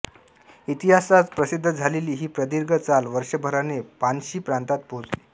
इतिहासात प्रसिद्ध झालेली ही प्रदीर्घ चाल वर्षभराने षान्शी प्रांतात पोहोचली